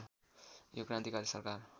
यो क्रान्तिकारी सरकार